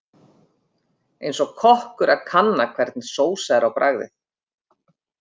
Eins og kokkur að kanna hvernig sósa er á bragðið.